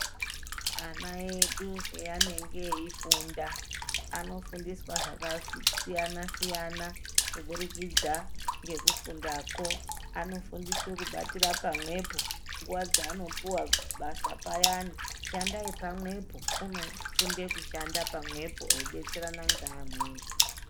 Ana edu paanege eifunda ,anofundiswa zvakasiyana siyana kuburikidza ngekufundako .Anofundiswa kubatire pamwepo .Nguwa dzaanopuwa basa payane ,shandai pamwepo .Unofunde kushanda pamwepo eidetserana ngeamweni.